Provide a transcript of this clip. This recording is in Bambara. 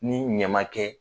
Ni ɲa man kɛ.